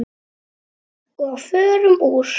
Og förum úr.